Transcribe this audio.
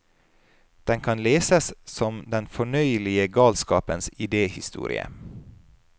Den kan leses som den fornøyelige galskapens idéhistorie.